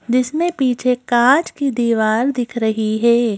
जिसमें पीछे कांच की दीवार दिख रही है।